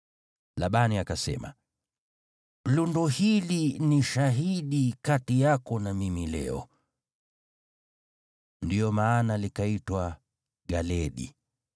Labani akasema, “Lundo hili ni shahidi kati yako na mimi leo.” Ndiyo maana likaitwa Galeedi.